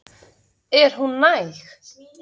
Er hún næg?